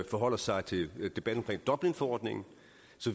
forholder sig til debatten om dublinforordningen